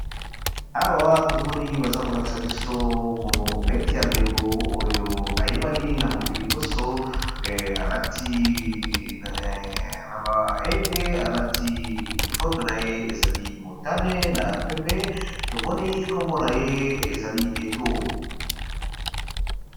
Awa tomoni baza kolakisa biso mobeti ya ndembo oyo ayebani na mokili nyonso aiete alati uniforme na ye ezali motane na pembe tomoni nkombo na ye ezali eto.